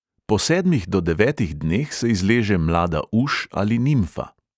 Po sedmih do devetih dneh se izleže mlada uš ali nimfa.